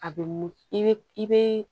A bɛ mun i bɛ